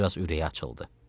Bir az ürəyi açıldı.